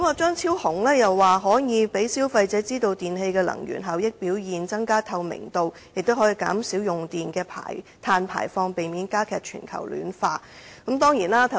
張超雄議員認為應讓消費者知道不同電器的能源效益表現，增加透明度，藉此減少用電的碳排放，避免加劇全球暖化。